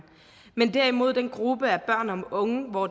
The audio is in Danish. men derimod den gruppe af børn og unge hvor